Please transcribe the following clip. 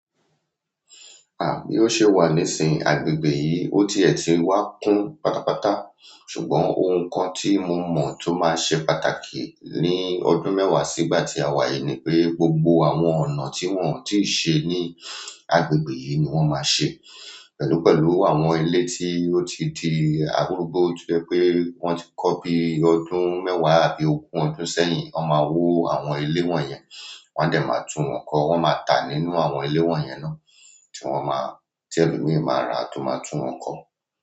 Àbí ó ṣe wà nísìnyí agbègbè yìí, ó ti ẹ̀ ti wá kún pátápátá, ṣùgbọ́n ohun kan tí mo mọ̀ tó máa ṣe pàtàkì ní ọdún mẹ́wàá sígbà tí a wà yìí ni pé gbogbo àwọn ọ̀nà tí wọ́n ò tí ì ṣe ní agbègbè yìí ni wọ́n máa ṣe pẹ̀lú pẹ̀lú àwọn ilé tí ó ti di àdúgbò, ó jọ pé wọ́n ti kọ́ bí ọdún mẹ́wàá àbí ogún ọdún sẹ́yìn, wọ́n máa wó àwọn ilé wọ̀nyẹn, wọ́n á dẹ̀ máa tún wọn kọ́, wọ́n máa tà nínú àwọn ilé wọ̀nyẹn náà tí wọ́n máa, tí elomí máa rà tó máa tún wọn kọ́.